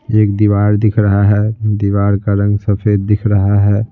एक दीवार दिख रहा है दीवार का रंग सफेद दिख रहा है।